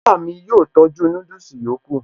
Ìyá mi yóò tọ́jú núdùsì yòókù